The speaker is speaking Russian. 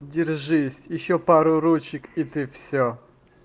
держись ещё пару ручек и ты всё